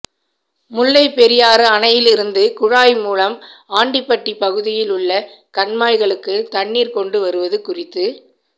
முல்லைப் பெரியாறு அணையிலிருந்து குழாய் மூலம் ஆண்டிபட்டி பகுதியில் உள்ள கண்மாய்களுக்கு தண்ணீா் கொண்டு வருவது குறித்து